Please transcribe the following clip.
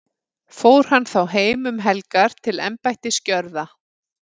Fór hann þá heim um helgar til embættisgjörða.